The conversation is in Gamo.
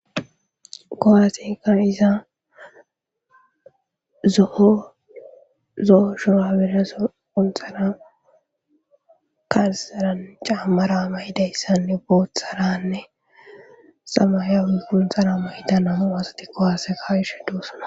kowaaseka iza zo7o shuraberaso untxara kasaran caammara mayidayssanne bootharanne samaya iquntxhara moyidan amo asati kowaaseka wishe doossana